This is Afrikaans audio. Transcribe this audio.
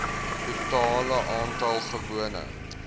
totale aantal gewone